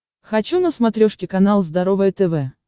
хочу на смотрешке канал здоровое тв